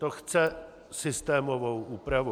To chce systémovou úpravu.